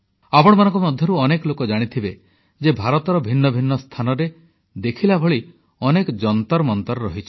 ଆପଣମାନଙ୍କ ମଧ୍ୟରୁ ଅନେକ ଲୋକ ଜାଣିଥିବେ ଯେ ଭାରତର ଭିନ୍ନ ଭିନ୍ନ ସ୍ଥାନରେ ଦେଖିଲା ଭଳି ଅନେକ ଯନ୍ତରମନ୍ତର ଅଛି